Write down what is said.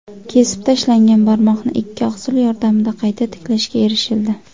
Kesib tashlangan barmoqni ikki oqsil yordamida qayta tiklashga erishildi.